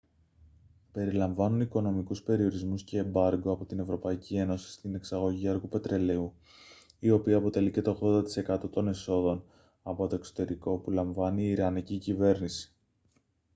περιλαμβάνουν οικονομικούς περιορισμούς και εμπάργκο από την ευρωπαϊκή ένωση στην εξαγωγή αργού πετρελαίου η οποία αποτελεί και το 80% των εσόδων από το εξωτερικό που λαμβάνει η ιρανική κυβέρνηση